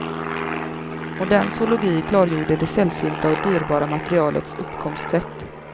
Modern zoologi klargjorde det sällsynta och dyrbara materialets uppkomstsätt.